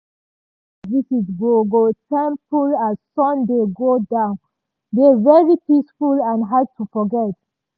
dat surprise visit go go temple as sun dey go down dey very peaceful and hard to forget.